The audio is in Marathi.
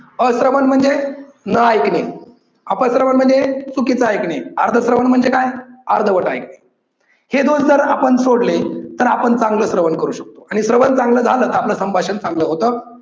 अश्रवन म्हणजे न ऐकणे, अप श्रवण म्हणजे चुकीच ऐकणे, अर्ध श्रवण म्हणजे काय? अर्धवट ऐकणे. हे दोष जर आपण सोडले तर आपण चांगल श्रवण करू शकतो आणि श्रवण चांगल झाल, आपल संभाषण चांगल होतं.